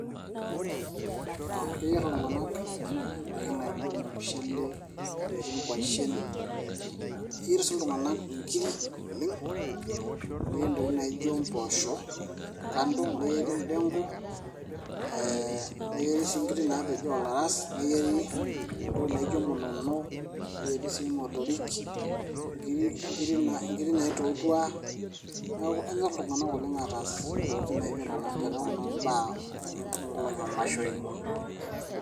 aa keyierr iltung'anak indaiki naijo ormushele eyieri inkuashen eyierr sii iltung'anak inkiri oleng neyieri ntokitin naijo mpoosho kando neyieri endenko neyieri sii inkiri naapejo oolaras neyieri entoki naijo munono keyieri sii imotorik inkiri naitotua neeku kenyorr iltung'anak oleng aataas ntokitin naijo nena teneeku naa imbaa oonkolong'i oomashoin.